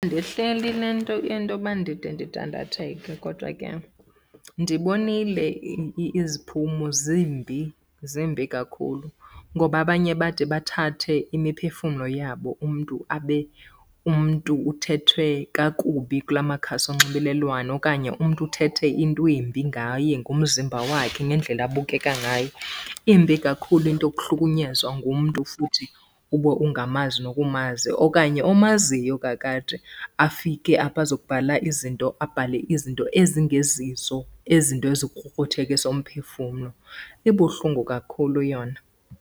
le nto intoba ndide ndidandatheke kodwa ke ndibonile iziphumo zimbi, zimbi kakhulu. Ngoba abanye bade bathathe imiphefumlo yabo, umntu abe umntu uthethwe kakubi kula makhasi onxibelelwano. Okanye umntu uthethe into embi ngaye ngomzimba wakhe nendlela abukeka ngayo. Imbi kakhulu into yokuhlukunyezwa ngumntu futhi ube ungamazi nokumazi okanye omaziyo kakade afike apho azobhala izinto, abhale izinto ezingezizo, izinto ezikrukruthekisa umphefumlo. Ibuhlungu kakhulu yona.